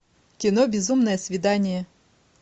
кино безумное свидание